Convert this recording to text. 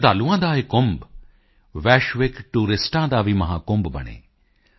ਸ਼ਰਧਾਲੂਓਂ ਕਾ ਯਹ ਕੁੰਭ ਵੈਸ਼ਵਿਕ ਟੂਰਿਸਟੋਂ ਕਾ ਭੀ ਮਹਾਕੁੰਭ ਬਨੇ